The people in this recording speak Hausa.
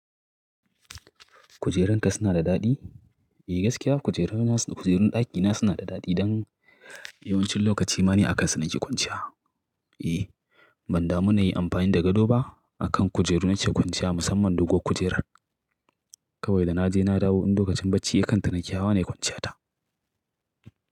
Kujeranka suna da daɗi? Eh gaskiya kujerun ɗakina suna da daɗi don yawancin lokaci ma ni a kansu nake kwanciya. Eh banda mu nayi amfani da gado ba, a kan kujeru nake kwanciya musamman dogon kujerar. Kawai da na je na dawo in lokacin bacci yayi kanta nake hawa na yi kwanciya ta.